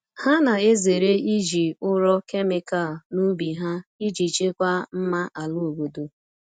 Ha na-ezere iji ụrọ kemịkal n’ubi ha iji chekwaa mma ala obodo.